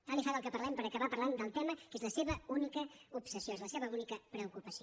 tant li fa del que parlem per acabar parlant del tema que és la seva única obsessió és la seva única preocupació